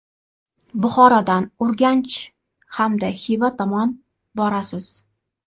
Buxorodan Urganch hamda Xiva tomon borasiz.